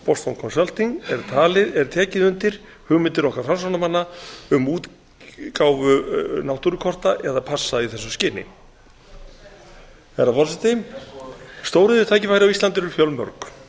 boston consulting group er tekið undir hugmyndir okkar framsóknarmanna um útgáfu náttúrukorta eða passa í þessu skyni herra forseti stóriðjutækifærin á íslandi eru fjölmörg